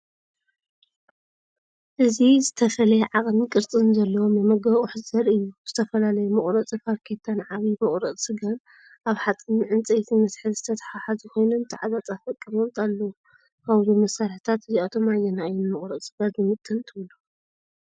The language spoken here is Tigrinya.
እዚ ዝተፈላለየ ዓቐንን ቅርጽን ዘለዎም መመገቢ ኣቑሑት ዘርኢ እዩ - ዝተፈላለዩ መቑረጺ ፋርኬታን ዓቢ መቑረጺ ስጋን። ኣብ ሓጺንን ዕንጨይትን መትሓዚ ዝተተሓሓዙ ኮይኖም ተዓጻጻፊ ኣቀማምጣ ኣለዎም። ካብዞም መሳርሒታት እዚኣቶም ኣየናይ እዩ ንመቁረፂ ስጋ ዝምጥን ትብሉ?